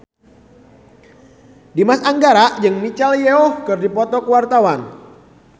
Dimas Anggara jeung Michelle Yeoh keur dipoto ku wartawan